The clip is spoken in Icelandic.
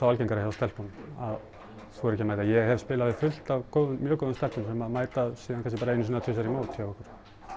algengara hjá stelpunum að þora ekki að mæta ég hef spilað við fullt af mjög góðum stelpum sem mæta svo kannski bara einu sinni tvisvar í mót hjá okkur